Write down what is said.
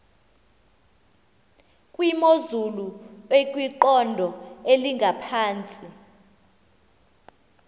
kwimozulu ekwiqondo elingaphantsi